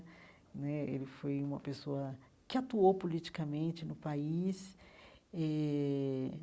Né ele foi uma pessoa que atuou politicamente no país eh.